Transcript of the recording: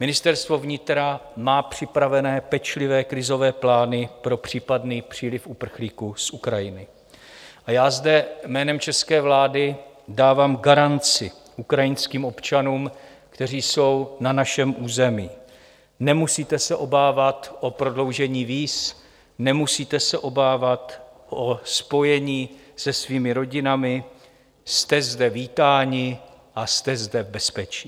Ministerstvo vnitra má připravené pečlivé krizové plány pro případný příliv uprchlíků z Ukrajiny a já zde jménem české vlády dávám garanci ukrajinským občanům, kteří jsou na našem území: nemusíte se obávat o prodloužení víz, nemusíte se obávat o spojení se svými rodinami, jste zde vítáni a jste zde v bezpečí.